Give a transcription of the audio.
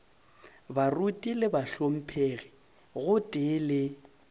baruti le bahlomphegi gotee le